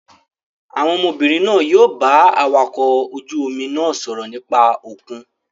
Àwọn ọmọbìnrin náà yóò bá awakọ̀ ojú-omi náà sọ̀rọ̀ nípa òkun.